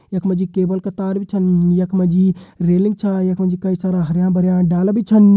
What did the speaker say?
यख मा जी केबल का तार भी छन यख मा जी रेलिंग छा यख मा जी कई सारा हरयाँ भरयां डाला भी छन।